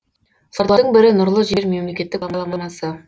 солардың бірі нұрлы жер мемлекеттік бағдарламасы